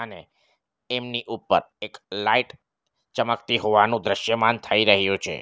અને એમની ઉપર એક લાઈટ ચમકતી હોવાનું દ્રશ્યમાન થઈ રહ્યું છે.